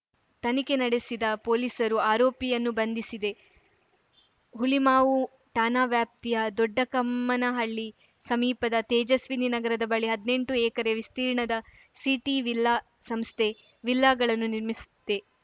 ತನಿಖೆ ನಡೆಸಿದ ಪೊಲೀಸರು ಆರೋಪಿಯನ್ನು ಬಂಧಿಸಿದೆ ಹುಳಿಮಾವು ಠಾಣಾ ವ್ಯಾಪ್ತಿಯ ದೊಡ್ಡಕಮ್ಮನಹಳ್ಳಿ ಸಮೀಪದ ತೇಜಸ್ವಿನಿ ನಗರದ ಬಳಿ ಹದ್ನೆಂಟು ಎಕರೆ ವಿಸ್ತೀರ್ಣದ ಸಿಟಿವಿಲ್ಲಾ ಸಂಸ್ಥೆ ವಿಲ್ಲಾಗಳನ್ನು ನಿರ್ಮಿಸುತ್ತೆ